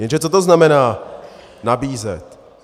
Jenže co to znamená nabízet?